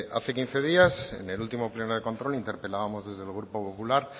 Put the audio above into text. hace quince días en el último pleno de control interpelábamos desde el grupo popular